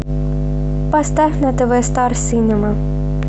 поставь на тв стар синема